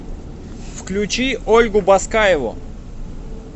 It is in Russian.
включи ольгу баскаеву